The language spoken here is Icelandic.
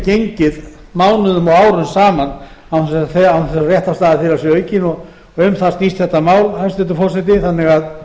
gengið mánuðum og árum saman án þess að réttarstaða þeirra sé aukin um það snýst þetta mál hæstvirtur forseti þannig að